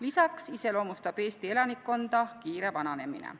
Lisaks iseloomustab Eesti elanikkonda kiire vananemine.